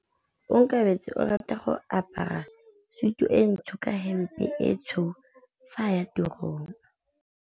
Onkabetse o rata go apara sutu e ntsho ka hempe e tshweu fa a ya tirong.